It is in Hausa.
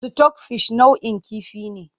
Sitok fish nau'in kifi ne.